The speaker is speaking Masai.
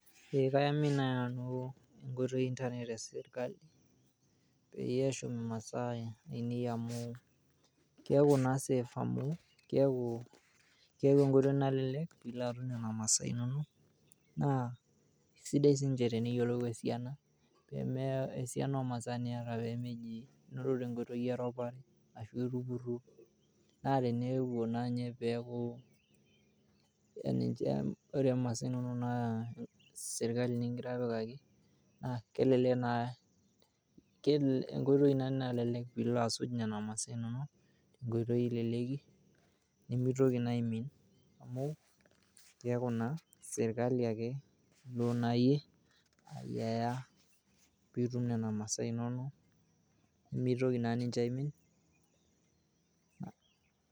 Ee kaiamini naai nanu enkoitoi e internet e sirkali peyie eshum imaasaa ainei amu keeku naa safe amu keeku naa enkoitoi nalelek pee ilo atum nena masaa inonok naa sidai sii teniyiolou esiana niata pee meji ilo tenkoitoi eropare arashu eji itupurruo. Neleleku pee ilo asuj nena mali inonok, nemitoki naa aimin keeku naa sirkali ake nashum.